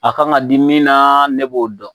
A kan ka di min na, ne b'o dɔn.